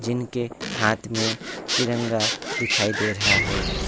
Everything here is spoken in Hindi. जिनके हाथ में तिरंगा दिखाई दे रहा है।